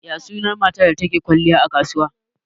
Ya sunan matar da take kwalliya a kasuwa?